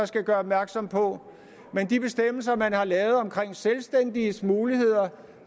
skal gøre opmærksom på de bestemmelser der er lavet omkring selvstændiges muligheder